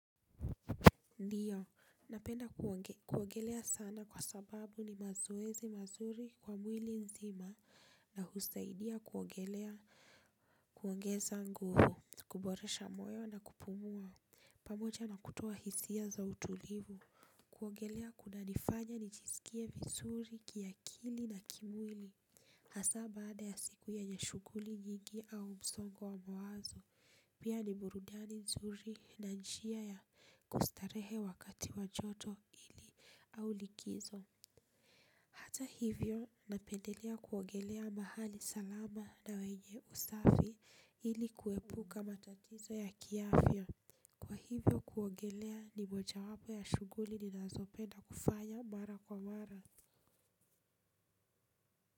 Ndiyo, napenda kuogelea sana kwa sababu ni mazoezi mazuri kwa mwili nzima na husaidia kuogelea kuongeza nguvu, kuboresha moyo na kupumua, pamoja na kutua hisia za utulivu, kuogelea kuna nifanya ni chisikie vizuri kiakili na kimwili. Hasa baada ya siku yenye shughuli nyingi au msongo wa mwazo pia ni burudani nzuri na njia ya kustarehe wakati wa joto ili au likizo. Hata hivyo napendelea kuogelea mahali salama na wenye usafi ili kuepuka matatizo ya kiafya. Kwa hivyo kuogelea ni moja wapo ya shughuli ninazopenda kufanya mara kwa mara. Kwa hivyo.